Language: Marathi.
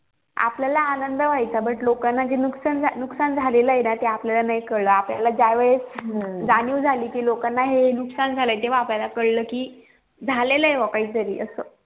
आपल्याला आनंद व्हायचं but लोकांना जे नुस्कान झालेलं ते आपल्याला नई काळ आपल्याला ज्या वेळेस जाणीव झाली कि लोकांना हे नुस्कान झालाय तेव्हा आपल्याला कळ कि झालेलं ये बाबा काही तरी